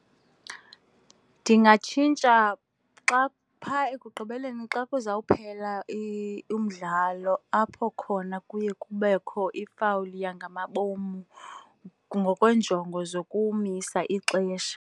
Ndingatshintsha xa, pha ekugqibeleni xa kuza kuphela umdlalo apho khona kuye kubekho ifawuli yangamabom ngokwenjongo zokumisa ixesha.